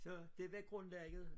Så det var grundlaget